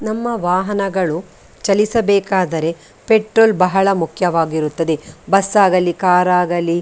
ನಮ್ಮ ವಾಹನಗಳು ಚಲಿಸಬೇಕಾದರೆ ಪೆಟ್ರೋಲ್‌ ಬಹಳ ಮುಖ್ಯವಾಗಿರುತ್ತದೆ ಬಸ್‌ ಆಗಲಿ ಕಾರ್‌ ಆಗಲಿ.